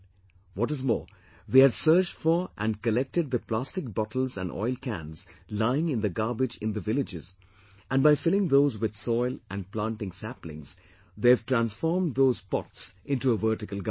What is more, they had searched for and collected the plastic bottles and oil cans lying in the garbage in the villages and by filling those with soil and planting saplings, they have transformed those pots into a vertical garden